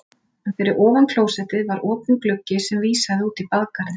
En fyrir ofan klósettið var opinn gluggi sem vísaði út í bakgarðinn.